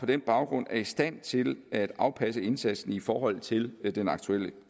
den baggrund er i stand til at afpasse indsatsen i forhold til den aktuelle